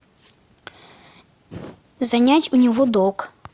занять у него долг